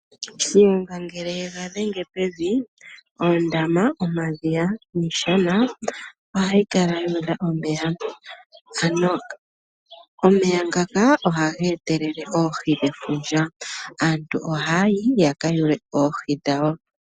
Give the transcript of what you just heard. Shiyenga ngele ye ga dhenge pevi ,oondama, omadhiya, iishana ohayi kala yu udha omeya. Omeya ngaka ohaga etelele oohi ndhoka hadhi ya nefundja . Aantu o haya yi ya ka yule/ kwate oohi dhawo.